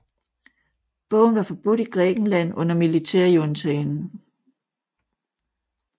Bogen var forbudt i Grækenland under militærjuntaen